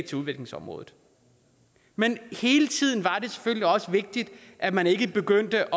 til udviklingsområdet men hele tiden var det selvfølgelig også vigtigt at man ikke begyndte